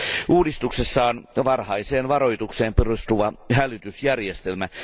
Uudistuksessa on varhaiseen varoitukseen perustuva hälytysjärjestelmä.